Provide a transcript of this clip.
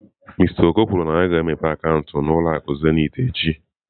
Mister Oko kwuru na ya ga-emepe akaụntụ n'ụlọ akụ Zenith echi.